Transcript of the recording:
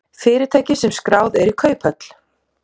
Fyrirtæki sem skráð eru í kauphöll